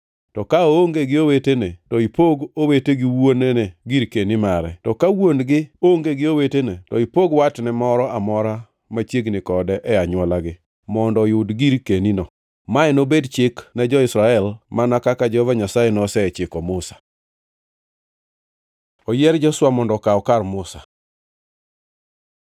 To ka wuon-gi onge gi owetene, to ipog watne moro amora machiegni kode e anywolagi, mondo oyud girkenino. Mae nobed chik ne jo-Israel, mana kaka Jehova Nyasaye nosechiko Musa.’ ” Oyier Joshua mondo okaw kar Musa